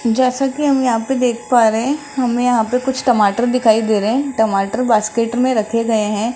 जैसा कि हम यहां पे देख पा रहे है हमें यहां पे कुछ टमाटर दिखाई दे रहे है टमाटर बास्केट में रखे गए है।